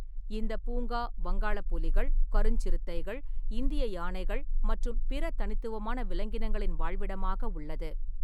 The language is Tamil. இந்தப் பூங்கா வங்காளப் புலிகள், கருஞ்சிறுத்தைகள், இந்திய யானைகள் மற்றும் பிற தனித்துவமான விலங்கினங்களின் வாழ்விடமாக உள்ளது.